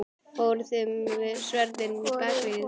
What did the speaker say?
Fóruð þið með sverðin inn í Bakaríið?